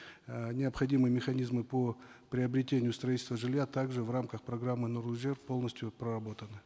э необходимые механизмы по приобретению строительству жилья также в рамках программы нурлы жер полностью проработаны